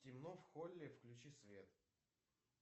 темно в холле включи свет